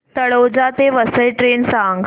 तळोजा ते वसई ट्रेन सांग